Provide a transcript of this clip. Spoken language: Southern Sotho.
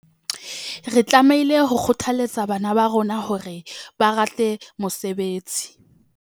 Re tlamehile ho kgothaletsa bana ba rona hore ba rate mosebetsi.